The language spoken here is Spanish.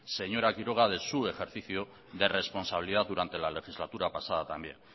señora quiroga de su ejercicio de responsabilidad durante la legislatura pasada también